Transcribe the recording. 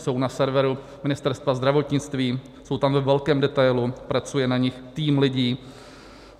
Jsou na serveru Ministerstva zdravotnictví, jsou tam ve velkém detailu, pracuje na nich tým lidí.